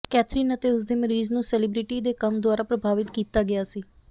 Catherine ਅਤੇ ਉਸਦੇ ਮਰੀਜ਼ ਨੂੰ ਸੇਲਿਬ੍ਰਿਟੀ ਦੇ ਕੰਮ ਦੁਆਰਾ ਪ੍ਰਭਾਵਿਤ ਕੀਤਾ ਗਿਆ ਸੀ